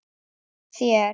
Hjá þér?